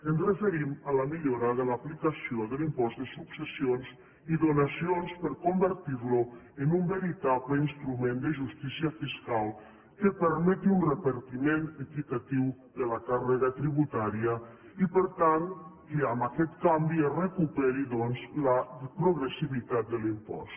ens referim a la millora de l’aplicació de l’impost de successions i donacions per convertirlo en un veritable instrument de justícia fiscal que permeti un repartiment equitatiu de la càrrega tributària i per tant que amb aquest canvi es recuperi doncs la progressivitat de l’impost